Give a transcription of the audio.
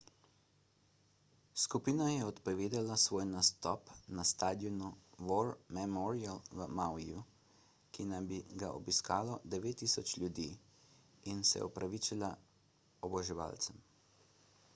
skupina je odpovedala svoj nastop na stadionu war memorial v mauiju ki naj bi ga obiskalo 9000 ljudi in se opravičila oboževalcem